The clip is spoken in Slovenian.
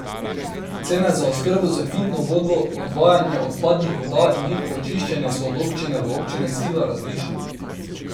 Cene za oskrbo s pitno vodo, odvajanje odpadnih voda in njihovo čiščenje so od občine do občine sila različne.